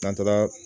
N'an taara